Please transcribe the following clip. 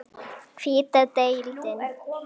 Hvíta deildin